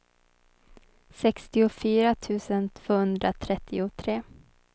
sextiofyra tusen tvåhundratrettiotre